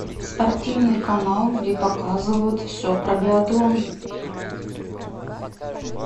спортивный канал где показывают все про биатлон